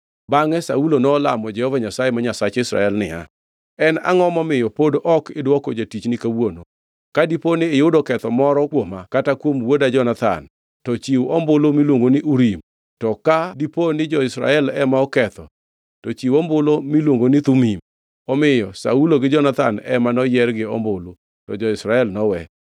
Bangʼe Saulo nolamo Jehova Nyasaye ma Nyasach Israel niya, “En angʼo momiyo pod ok idwoko jatichni kawuono? Ka dipo ni iyudo ketho moro kuoma kata kuom wuoda Jonathan, to chiw ombulu miluongo ni Urim, to ka dipo ni jo-Israel ema oketho, ni chiw ombulu miluongo ni Thumim.” Omiyo Saulo gi Jonathan ema noyier gi ombulu, to jo-Israel nowe.